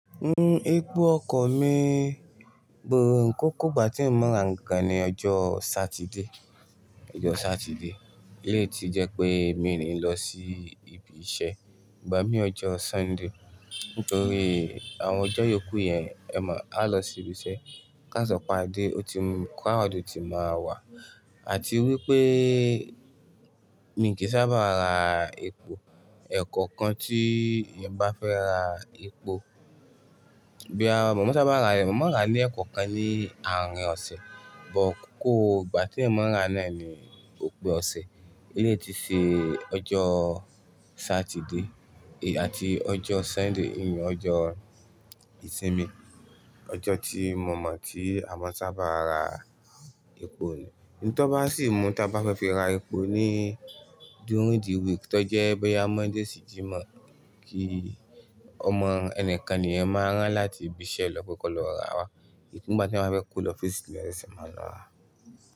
N ó, epo ọkọ̀ mi gbò ó, kòkó ìgbà tí mò ń ra nǹkan ni ọjọ́ Saturday, ọjọ́ Saturday. Léè tí jẹ́ pé mi ní lọ sí ibi iṣẹ́ gbà mí ọjọ́ Sunday, nítorí àwọn ọjọ́ yòókù yẹn, ẹ mọ̀, a lọ sí ibi iṣẹ́. Kásọ̀pá Adé, ó ti mọ̀ káàdì ò tí máa wà àti wípé mi kì í sábà ra epo. Ẹ̀kọ̀kan tí ìyẹn bá fẹ́ ra epo, bí à mọ̀ ọ sábà ra rẹ̀, mọ̀ ọ ra ní ẹ̀kọ̀kan ní àárín ọ̀sẹ̀, but kòkó ìgbà tí mò ń ra náà ni òpin ọ̀sẹ̀. Léè tí ṣe ọjọ́ Saturday àti ọjọ́ Sunday, ìyẹn ọjọ́ ìsinmi, ọjọ́ tí mo mọ̀ tí àwọn sábà ra epo ni. Ni tó bá sì mú tí a bá fẹ́ fi ra epo ní during the week tó jẹ́ báyìí Monday sí Friday, kí ọmọ ẹni kan ni ẹ máa rán láti ibi iṣẹ́ lọ pé kó lọ ra wá. Ní ìgbà tí wọ́n bá fẹ́ kó lọ fésì, ẹ sẹ̀ máa lọ wá.